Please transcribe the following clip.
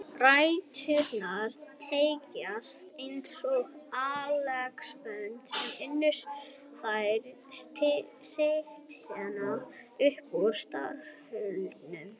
Ræturnar teygjast eins og axlabönd uns þær slitna upp úr startholunum